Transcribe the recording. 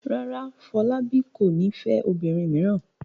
Rárá, Fọlábí kò ní fẹ́ obìnrin mìíràn.